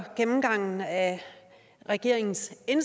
regeringen